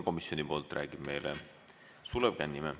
Komisjoni poolt räägib meile Sulev Kannimäe.